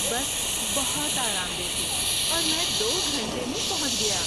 بس بہت آرام دہ تھی اور میں دو گھنٹے میں پہنچ گیا۔